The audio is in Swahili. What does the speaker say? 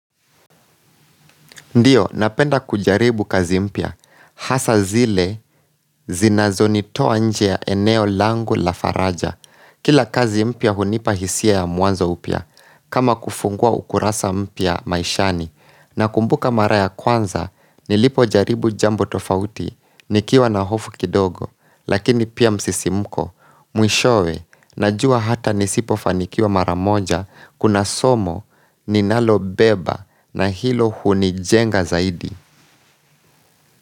Ndiyo, napenda kujaribu kazi mpya, hasa zile zinazonitoa nje ya eneo langu la faraja. Kila kazi mpya hunipa hisia ya mwanzo upya, kama kufungua ukurasa mpya maishani, nakumbuka mara ya kwanza, nilipojaribu jambo tofauti, nikiwa na hofu kidogo, lakini pia msisimuko, mwishowe, najua hata nisipofanikiwa mara moja, Kuna somo ninalobeba na hilo hunijenga zaidi.